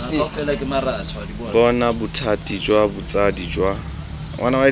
bona bothati jwa botsadi jwa